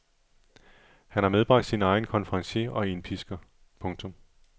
Han har medbragt sin egen konferencier og indpisker. punktum